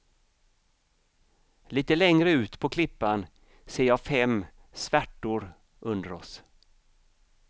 Lite längre ut på klippan ser jag fem svärtor under oss.